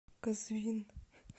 казвин